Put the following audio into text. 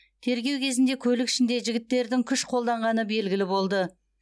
тергеу кезінде көлік ішінде жігіттердің күш қолданғаны белгілі болды